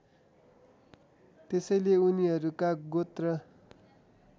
त्यसैले उनीहरूका गोत्र